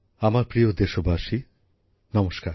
আমার প্রিয় দেশবাসী নমস্কার